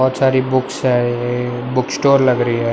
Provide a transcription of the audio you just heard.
बहोत सारी बुक्स है। ये बुक स्टोर लग रही है।